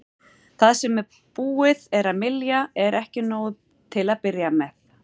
Það sem búið er að mylja er ekki nóg til að byrja með.